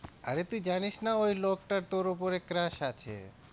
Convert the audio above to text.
আরে তুই জানিস না ওই লোকটার তোর ওপরে crush আছে?